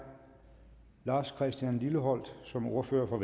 lars christian lilleholt som ordfører for